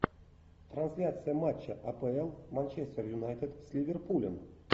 трансляция матча апл манчестер юнайтед с ливерпулем